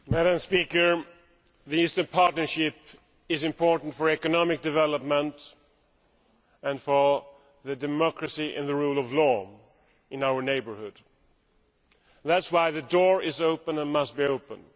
Madam President, the Eastern Partnership is important for economic development, and for democracy and the rule of law in our neighbourhood. That is why the door is open and must remain open.